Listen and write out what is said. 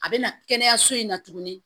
A bɛ na kɛnɛyaso in na tuguni